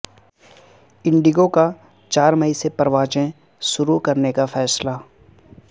indie گو کا چار مئی سے پروازیں شروع کرنے کا فیصلہ